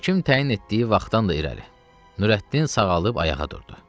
Həkim təyin etdiyi vaxtdan da irəli Nurəddin sağalıb ayağa durdu.